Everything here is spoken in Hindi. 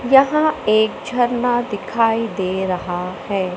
यहां एक झरना दिखाई दे रहा है।